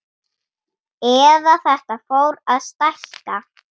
Eða þetta fór að stækka.